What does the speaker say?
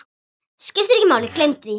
Skiptir ekki máli, gleymdu því.